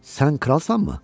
Sən kralsanmı?